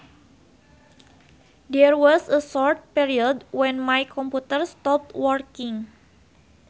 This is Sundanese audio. There was a short period when my computer stopped working